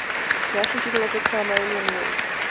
russian people of the crimean war